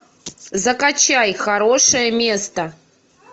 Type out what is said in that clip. закачай хорошее место